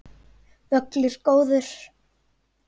Völlur góður.